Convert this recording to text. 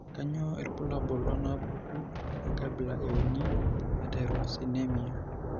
Kainyio irbulabul onaapuku enkabila euni eTyrosinemia?